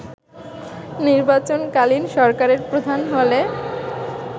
নির্বাচনকালীন সরকারের প্রধান হলে